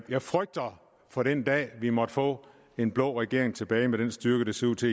jeg frygter for den dag vi måtte få en blå regering tilbage med den styrke det ser ud til